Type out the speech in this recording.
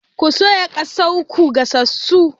Ko soya kazar ko gasassu?